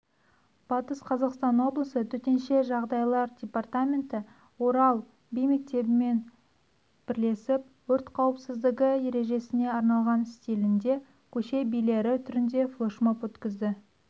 батыс қазақстан облысы төтенше жағдайлар департаменті орал би мектебімен бірлесіп өрт қауіпсіздігі ережесіне арналған стилінде көше билері түрінде флешмоб өткізді